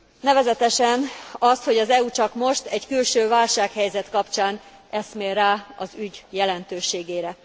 Nevezetesen azt, hogy az EU csak most, egy külső válsághelyzet kapcsán eszmél rá az ügy jelentőségére.